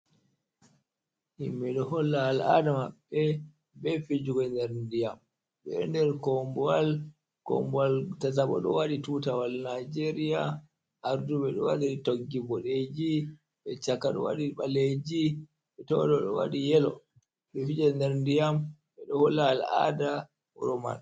Himɓe do holla al'ada mabbe be fijigo nder ndiyam ɓe ɗo nder kombowal kombowal tataɓo do wadi tutawal nijeria arduɓe do wadi toggi bodeji be chaka ɗo wadi ɓaleji be to ɗo wadi yelo ɓe ɗo fije nder ndiyam ɓe ɗo holla al'ada wuro man.